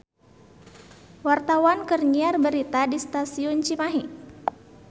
Wartawan keur nyiar berita di Stasiun Cimahi